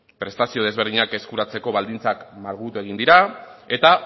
prestazio desberdinak eskuratzeko baldintzak malgutu egin dira eta